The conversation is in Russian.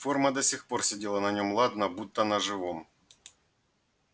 форма до сих пор сидела на нем ладно будто на живом